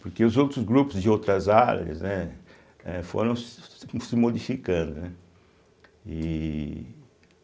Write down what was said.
Porque os outros grupos de outras áreas, né eh foram se se modificando, né e.